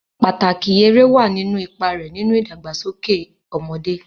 Pàtàkì eré wà nínú ipa rẹ̀ nínú ìdàgbàsókè ọmọdé.